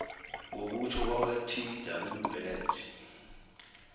ngokutjho kwakatw bennett